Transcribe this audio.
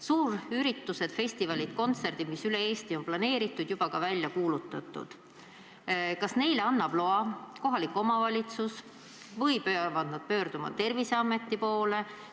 Suurüritused, festivalid, kontserdid, mis üle Eesti on planeeritud, juba ka välja kuulutatud – kas neile annab loa kohalik omavalitsus või peab pöörduma Terviseameti poole?